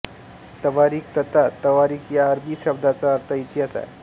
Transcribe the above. तवारिख तथा तवारीख या अरबी शब्दाचा अर्थ इतिहास आहे